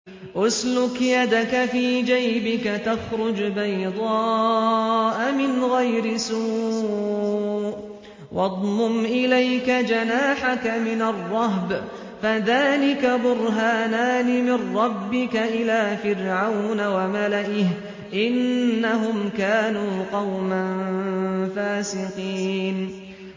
اسْلُكْ يَدَكَ فِي جَيْبِكَ تَخْرُجْ بَيْضَاءَ مِنْ غَيْرِ سُوءٍ وَاضْمُمْ إِلَيْكَ جَنَاحَكَ مِنَ الرَّهْبِ ۖ فَذَانِكَ بُرْهَانَانِ مِن رَّبِّكَ إِلَىٰ فِرْعَوْنَ وَمَلَئِهِ ۚ إِنَّهُمْ كَانُوا قَوْمًا فَاسِقِينَ